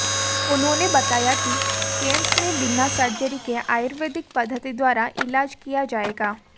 उन्होंने बताया कि कैंप में बिना सर्जरी के आयुर्वेदिक पद्धति द्वारा इलाज किया जायेगा